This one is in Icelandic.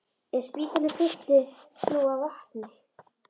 Ef spítalinn fylltist nú af vatni!